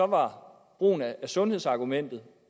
var brugen af sundhedsargumentet